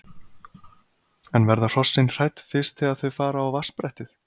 En verða hrossin hrædd fyrst þegar þau fara á vatnsbrettið?